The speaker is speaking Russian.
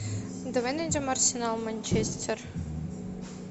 давай найдем арсенал манчестер